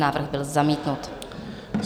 Návrh byl zamítnut.